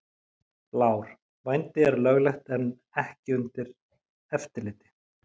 Blár: Vændi er löglegt en ekki undir eftirliti.